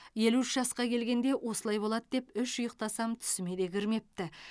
елу үш жасқа келгенде осылай болады деп үш ұйықтасам түсіме де кірмепті